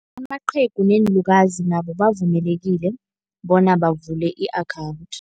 Amaqhegu neenlukazi nabo bavumelekile bona bavule i-akhawunthi.